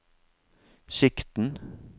sikten